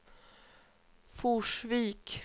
Forsvik